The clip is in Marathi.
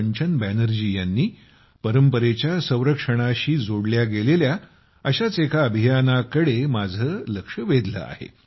कंचन बॅनर्जी यांनी परंपरेच्या संरक्षणाशी जोडल्या गेलेल्या अशाच एका अभियानाच्या कडे माझं लक्ष वेधलं आहे